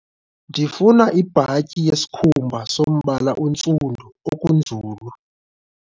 Ndifuna ibhatyi yesikhumaba sombala ontsundu okunzulu.